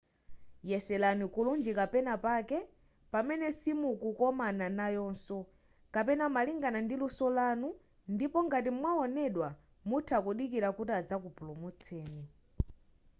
yeserani kulunjika penapake pamene simukomana nayoso kapena malingana ndi luso lanu ndipo ngati mwawonedwa mutha kudikilira kuti azakupulumutseni